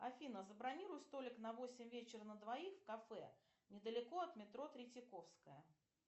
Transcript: афина забронируй столик на восемь вечера на двоих в кафе недалеко от метро третьяковская